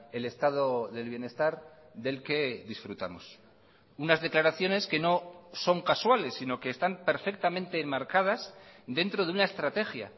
el estado del bienestar del que disfrutamos unas declaraciones que no son casuales sino que están perfectamente enmarcadas dentro de una estrategia